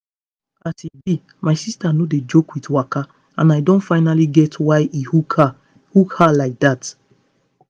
as e be my sister no dey joke with waka and i don finally get why e hook her hook her like dat.